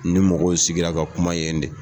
Ni mɔgɔw sigira ka kuma yen de.